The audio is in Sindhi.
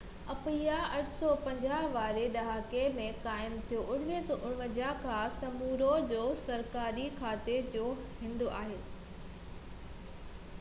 اپيا 1850 واري ڏهاڪي ۾ قائم ٿيو ۽ 1959 کان سمووا جو سرڪاري گاڌي جو هنڌ آهي